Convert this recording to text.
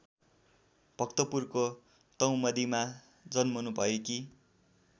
भक्तपुरको टौमडीमा जन्मनुभएकी